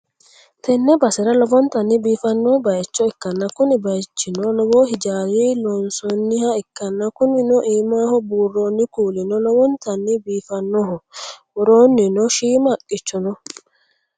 Tenne basera lowontanni biifanno bayicho ikkanna, kuni bayichino lowo hijaara loonsonniha ikkanna, kunino iimaho buurronni kuulino lowontanni biifannoho, woroonnino shiima haqqicho no.